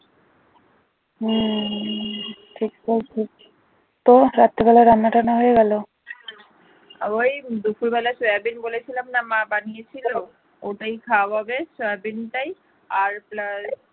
ওই দুপুর বেলা সয়াবিন বলেছিলাম না মা বানিয়েছিল ওটায় খাওয়া হবে সারা দিনটাই আর plus